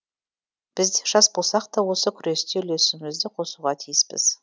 біз де жас болсақ та осы күресте үлесімізді қосуға тиіспіз